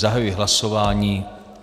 Zahajuji hlasování.